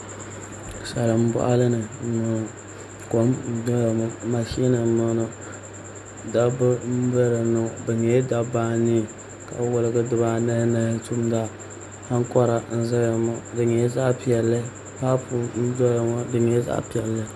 Salin boɣali ni n boŋo kom n doya ŋo mashin n ʒɛya ŋo dabba n bɛ dinni ŋo bi nyɛla dabba anii ka wolgi dibaanahi nahi tumda ankora n ʒɛya ŋo di nyɛla zaɣ piɛlli paaapu n doya ŋo di nyɛla zaɣ piɛlli